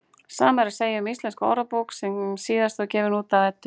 Sama er að segja um Íslenska orðabók sem síðast var gefin út hjá Eddu.